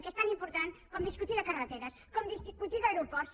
que és tan important com discutir de carreteres com discutir d’aeroports